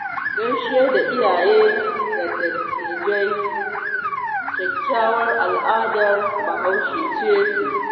Gaishe da iyaye da dattijai kyakkyawar al'adar bahaushe ce sosai